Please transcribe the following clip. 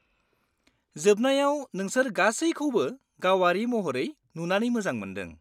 -जोबनायाव नोंसोर गासैखौबो गावारि महरै नुनानै मोजां मोन्दों।